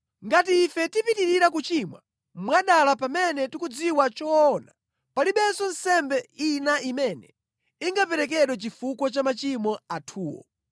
Ngati ife tipitirira kuchimwa mwadala pamene tikudziwa choona, palibenso nsembe ina imene ingaperekedwe chifukwa cha machimo athuwo.